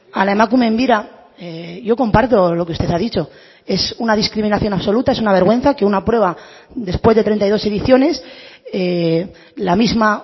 a la emakumeen bira yo comparto lo que usted ha dicho es una discriminación absoluta es una vergüenza que una prueba después de treinta y dos ediciones la misma